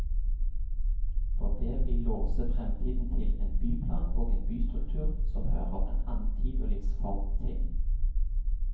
For det vil låse fremtiden til en byplan og en bystruktur som hører en annen tid og livsform til.